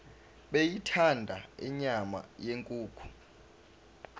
beyithanda inyama yenkukhu